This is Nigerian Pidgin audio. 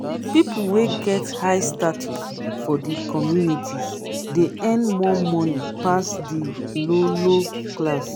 pipo wey get high status for di communities de earn more money pass di low low class